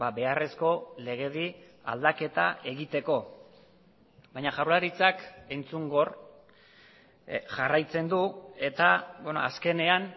beharrezko legedi aldaketa egiteko baina jaurlaritzak entzungor jarraitzen du eta azkenean